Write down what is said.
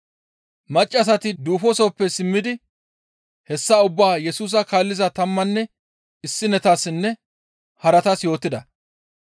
Maccassati duufosoppe simmidi hessa ubbaa Yesusa kaalliza tammanne issinetassinne haratas yootida.